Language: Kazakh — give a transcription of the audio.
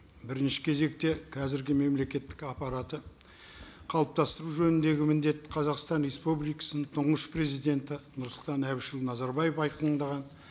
бірінші кезекте қазіргі мемлекеттік аппаратты қалыптастыру жөніндегі міндет қазақстан республикасының тұңғыш президенті нұрсұлтан әбішұлы назарбаев айқындаған